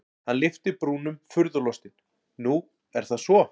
Hann lyfti brúnum furðulostinn:-Nú er það svo?